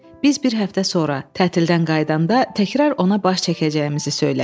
Biz bir həftə sonra tətilə qayıdanda təkrar ona baş çəkəcəyimizi söylədik.